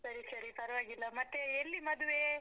ಸರಿ ಸರಿ ಪರವಾಗಿಲ್ಲ. ಮತ್ತೇ, ಎಲ್ಲಿ ಮದ್ವೇ?